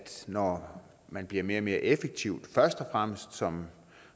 når man bliver mere og mere effektiv først og fremmest som